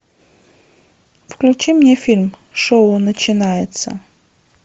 включи мне фильм шоу начинается